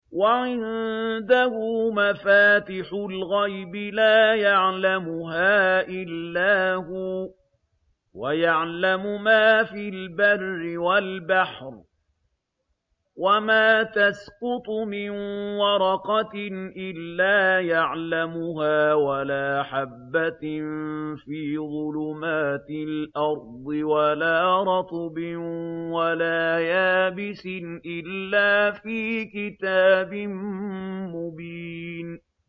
۞ وَعِندَهُ مَفَاتِحُ الْغَيْبِ لَا يَعْلَمُهَا إِلَّا هُوَ ۚ وَيَعْلَمُ مَا فِي الْبَرِّ وَالْبَحْرِ ۚ وَمَا تَسْقُطُ مِن وَرَقَةٍ إِلَّا يَعْلَمُهَا وَلَا حَبَّةٍ فِي ظُلُمَاتِ الْأَرْضِ وَلَا رَطْبٍ وَلَا يَابِسٍ إِلَّا فِي كِتَابٍ مُّبِينٍ